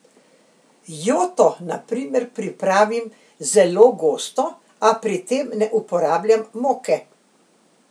Joto na primer, pripravim zelo gosto, a pri tem ne uporabljam moke.